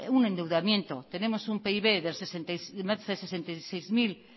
un endeudamiento tenemos un pib de más de sesenta y seis mil